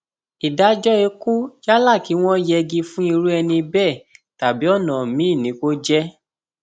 ìdájọ ikú yálà kí wọn yẹgi fún irú ẹni bẹẹ tàbí ọnà míín ni kò jẹ